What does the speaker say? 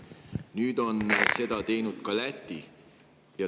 Nüüd on seda teinud ka Läti.